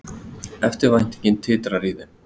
Eftirvæntingin titrar í þeim.